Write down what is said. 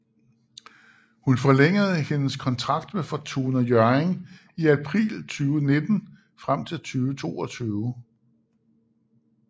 Hun forlængede hendes kontrakt med Fortuna Hjørring i april 2019 frem til 2022